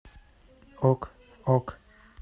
ок ок